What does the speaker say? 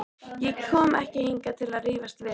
Ég kom ekki hingað til að rífast við hann.